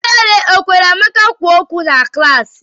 Ihere ọ kwere Amaka kwuo okwu na klaasị?